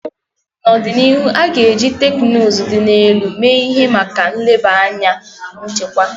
N'ọdịnihu, a ga-eji teknụzụ dị elu mee ihe maka nleba anya nchekwa.